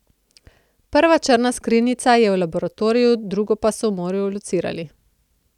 Prva črna skrinjica je v laboratoriju, drugo so v morju locirali.